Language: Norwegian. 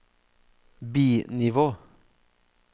bi-nivå